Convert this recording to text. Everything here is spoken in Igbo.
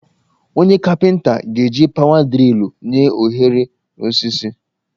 Onye kapịnta ga-eji pawa drịlụ nye ohere n'osisi